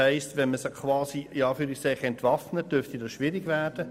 Würden sie «entwaffnet», dürfte das schwierig werden.